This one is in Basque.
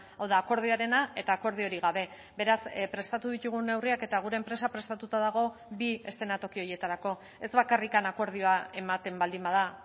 hau da akordioarena eta akordiorik gabe beraz prestatu ditugun neurriak eta gure enpresa prestatuta dago bi eszenatoki horietarako ez bakarrik akordioa ematen baldin bada